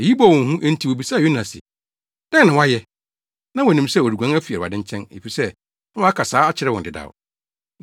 Eyi bɔɔ wɔn hu, enti wobisaa Yona se, “Dɛn na woayɛ?” (Na wonim sɛ ɔreguan afi Awurade nkyɛn, efisɛ na waka saa akyerɛ wɔn dedaw).